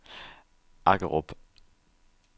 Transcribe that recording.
Aggerup